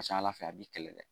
A ka ca Ala fɛ a b'i kɛlɛ dɛ .